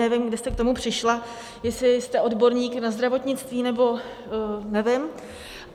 Nevím, kde jste k tomu přišla, jestli jste odborník na zdravotnictví, nebo nevím.